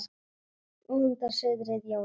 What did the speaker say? Nú andar suðrið Jónas kvað.